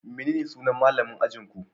Menene sunan malamin ajinku?